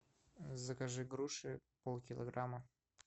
закажи груши пол килограмма